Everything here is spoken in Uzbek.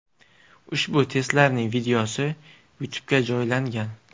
Ushbu testlarning videosi YouTube’ga joylangan .